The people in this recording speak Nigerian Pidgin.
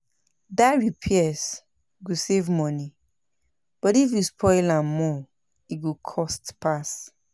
DIY repairs go save money, but if you spoil am more, e go cost pass